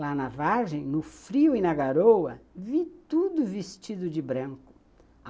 Lá na vargem, no frio e na garoa, vi tudo vestido de branco.